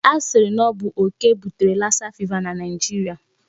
A sịrị na ọ bụ okè butere lassa fever na Nigeria.